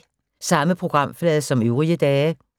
Samme programflade som øvrige dage